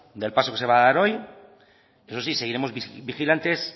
del paso que se va a dar hoy eso sí seguiremos vigilantes